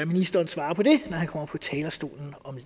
ministeren svarer på det når han kommer på talerstolen om